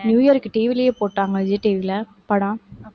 new இயர்க்கு TV லயே போட்டாங்க, விஜய் TV ல படம்